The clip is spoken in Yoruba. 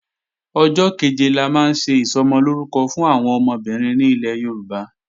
Ọjọ́ kẹ̀jẹ la máa ń ṣe Ìsọmọlórúkọ fún àwọn ọmọbìnrin ní ilẹ̀ Yorùbá